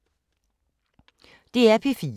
DR P3